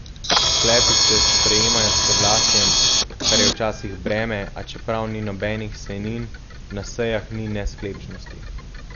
Sklepi se sprejemajo s soglasjem, kar je včasih breme, a čeprav ni nobenih sejnin, na sejah ni nesklepčnosti.